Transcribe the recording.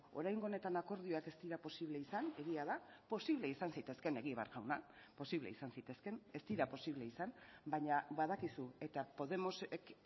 oraingo honetan akordioak ez dira posible izan egia da posible izan zitezkeen egibar jauna posible izan zitezkeen ez dira posible izan baina badakizu eta podemosek